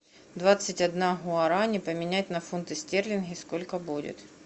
двадцать одна гуарани поменять на фунты стерлингов сколько будет